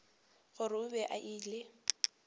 gore o be a ile